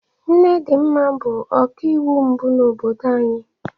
Nne Dinma bụ ọkaiwu mbụ n'obodo anyị.